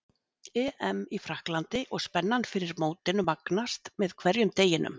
EM í Frakklandi og spennan fyrir mótinu magnast með hverjum deginum.